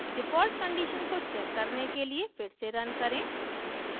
default condition को check करने के लिए फिर से रन करें